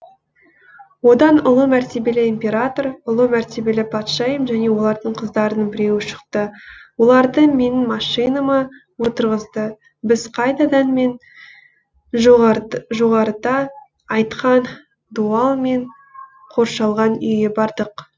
одан ұлы мәртебелі император ұлы мәртебелі патшайым және олардың қыздарының біреуі шықты оларды менің машинама отырғызды біз қайтадан мен жоғарыда айтқан дуалмен қоршалған үйге бардық